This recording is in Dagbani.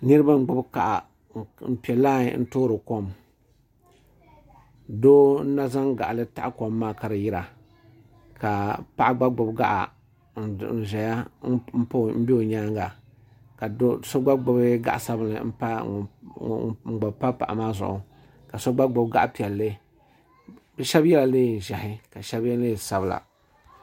Niriba n gbibi gaɣa n piɛ lai n toori kom doo n na zaŋ gaɣali taɣi ka di yira ka paɣa gba gbibi gaɣa n ʒɛya n be nyaanga ka do'so gba gbibi gaɣa sabinli n gba pa paɣa maa zuɣu ka so gba gbibi gaɣa piɛlli bɛ sheba yela niɛn'ʒehi ka sheba ye niɛn'sabla.